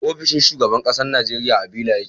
ofishin shugaban ƙasar Nigeria a Villa yake